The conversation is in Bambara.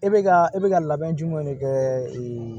E bɛ ka e bɛ ka labɛn jumɛn de kɛ